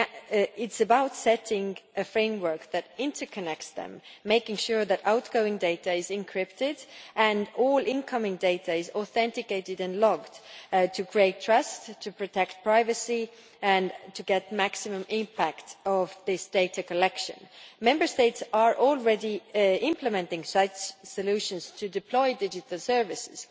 It is about setting a framework that interconnects them, making sure that outgoing data is encrypted and all incoming data is authenticated and logged to create trust, protect privacy and get maximum impact from this data collection. Member States are already implementing such solutions to deploy digital services